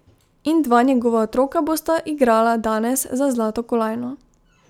In dva njegova otroka bosta igrala danes za zlato kolajno.